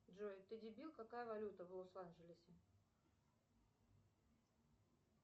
джой ты дебил какая валюта в лос анджелесе